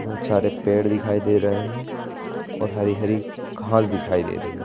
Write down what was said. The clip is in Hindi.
बहुत सारे पेड़ दिखाई दे रहे हैं और हरी-हरी घास दिखाई दे रही है।